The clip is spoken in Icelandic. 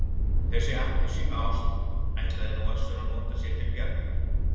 Þessa appelsínást ætlaði nú Össur að nota sér til bjargar.